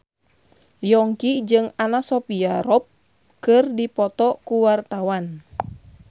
Yongki jeung Anna Sophia Robb keur dipoto ku wartawan